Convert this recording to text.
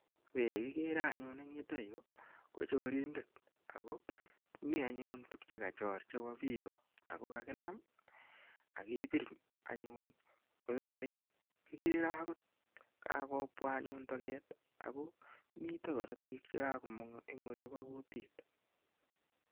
Weri kikere anyun en yutayu ko chorindet ako mi anyun tuguk che kachor chepo pika ako kakinam ak kepir anyun kototaret. Igere agot kakopwa anyun toget ako mita karatik che kakomang' eng' olipa kutiit.